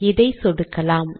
இதை சொடுக்கலாம்